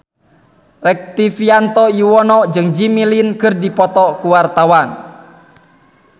Rektivianto Yoewono jeung Jimmy Lin keur dipoto ku wartawan